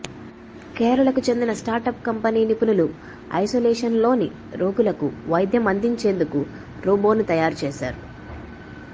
కేరళకు చెందిన startup company నిపుణులు ఐసోలేషన్లోని రోగులకు వైద్యం అందించేందుకు రోబోను తయారు చేశారు